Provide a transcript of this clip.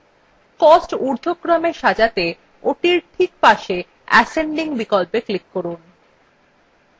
cost ঊর্ধক্রমে সাজাতে ওটির ঠিক পাশে ascending বিকল্পে click করুন